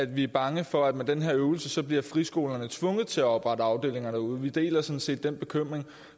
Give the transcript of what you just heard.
vi er bange for at med den her øvelse bliver friskolerne tvunget til at oprette afdelinger derude vi deler sådan set den bekymring